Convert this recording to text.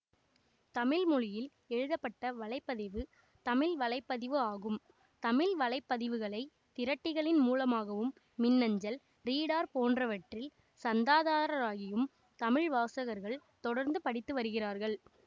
தமிழ் மொழியில் எழுதப்பட்ட வலை பதிவு தமிழ் வலை பதிவு ஆகும் தமிழ்வலைப்பதிவுகளை திரட்டிகளின் மூலமாகவும் மின்னஞ்சல் ரீடர் போன்றவற்றில் சந்தாதாரராகியும் தமிழ் வாசகர்கள் தொடர்ந்து படித்து வருகிறார்கள்